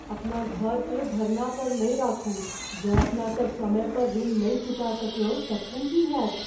अपना घरकेँ भरना पर नहि राखू। जँ अपना सब समय पर ऋण नहि चुका सकलहुँ तखन की होयत?